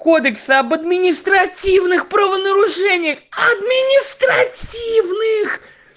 кодексы об административных правонарушениях административных